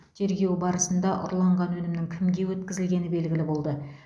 тергеу барысында ұрланған өнімнің кімге өткізілгені белгілі болды